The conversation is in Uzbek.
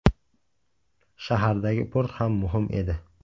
Shahardagi port ham muhim edi.